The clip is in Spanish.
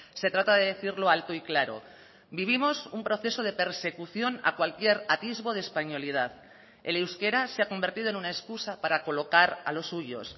se trata de decirlo alto y claro vivimos un proceso de persecución a cualquier atisbo de españolidad el euskera se ha convertido en una excusa para colocar a los suyos